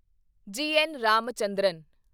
ਜੀ. ਐੱਨ. ਰਾਮਚੰਦਰਨ